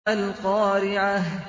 مَا الْقَارِعَةُ